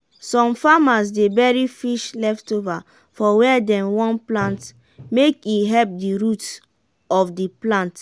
to plant crop turn by turn dey reduce disease and balance um wetin de um farm need.